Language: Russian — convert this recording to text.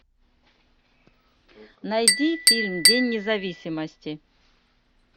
найди фильм день независимости